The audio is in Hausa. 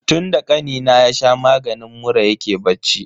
Tunda kanina ya sha maganin mura yake bacci.